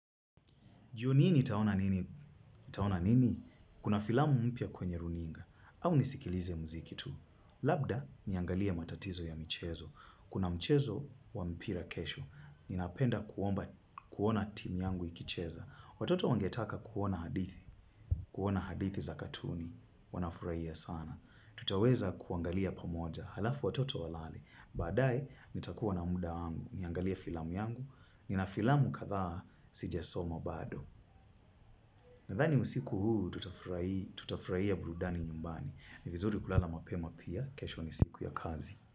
Jioni hii nitaona nini? Kuna filamu mpya kwenye runinga. Au nisikilize mziki tu. Labda niangalie matatizo ya mchezo. Kuna mchezo wa mpira kesho. Ninapenda kuona timu yangu ikicheza. Watoto wangetaka kuona hadithi. Kuona hadithi za katuni. Wanafurahia sana. Tutaweza kuangalia pamoja. Alafu watoto walale. Baadaye, nitakuwa na muda angu. Niangalie filamu yangu. Nina filamu kadha sijasoma bado. Nadhani usiku huu tutafurahia burudani nyumbani. Ni vizuri kulala mapema pia, kesho ni siku ya kazi.